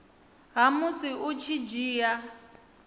ha musi u tshi dzhia